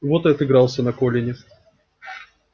вот и отыгрался на колине